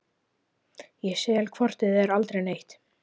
Ég sel hvort eð er aldrei neitt.